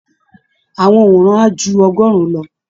Àwọn òǹwòran á ju ọgọ́rùn-ún lọ